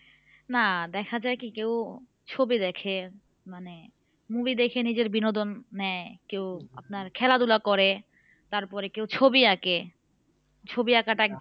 না দেখা যায় কি কেউ ছবি দেখে মানে movie দেখে নিজের বিনোদন নেই কেউ আপনার খেলাধূলা করে তারপরে কেউ ছবি আঁকে ছবি আঁকাটা এক